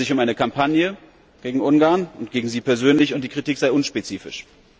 Es handle sich um eine Kampagne gegen Ungarn und gegen Sie persönlich, und die Kampagne sei unspezifisch.